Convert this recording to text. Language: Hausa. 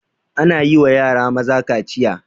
Ana yiwa yara maza kaciya